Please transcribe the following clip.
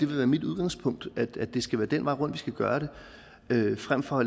være mit udgangspunkt at det skal være den vej rundt vi skal gøre det frem for